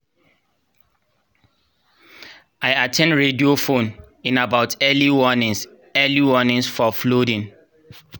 i at ten d radio phone-in about early warnings early warnings for flooding